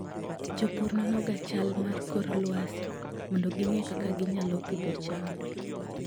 Jopur nonoga chal mar kor lwasi mondo ging'e kaka ginyalo pidho cham.